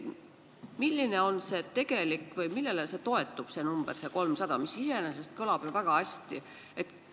Milline on see tegelik number või millele see number 300 toetub, mis iseenesest kõlab ju väga hästi?